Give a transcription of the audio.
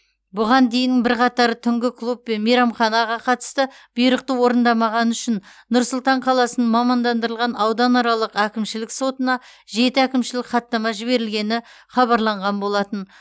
бұған дейін бірқатар түнгі клуб пен мейрамханаға қатысты бұйрықты орындамағаны үшін нұр сұлтан қаласының мамандандырылған ауданаралық әкімшілік сотына жеті әкімшілік хаттама жіберілгені хабарланған болатын